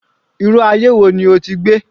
Irú aye wo ni o ti gbé?